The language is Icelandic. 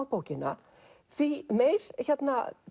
bókina því meir